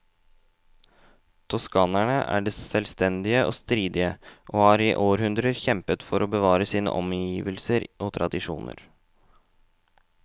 Toskanerne er selvstendige og stridige, og har i århundrer kjempet for å bevare sine omgivelser og tradisjoner.